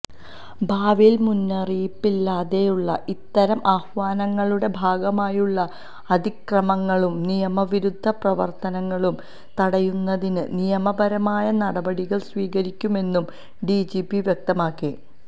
ഭാവിയില് മുന്നറിയിപ്പില്ലാതെയുള്ള ഇത്തരം ആഹ്വാനങ്ങളുടെ ഭാഗമായുള്ള അതിക്രമങ്ങളും നിയമവിരുദ്ധ പ്രവര്ത്തനങ്ങളും തടയുന്നതിന് നിയമപരമായ നടപടികള് സ്വീകരിക്കുമെന്നും ഡിജിപി വ്യക്തമാക്കി